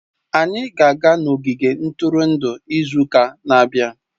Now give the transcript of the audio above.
Anyị ga-aga n'ogige ntụrụndụ izu ụka na-abịa